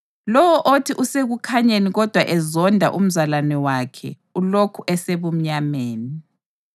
Lowo othi usekukhanyeni kodwa ezonda umzalwane wakhe ulokhu esebumnyameni.